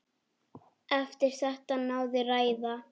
Eftir þetta náði ræða